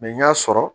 n y'a sɔrɔ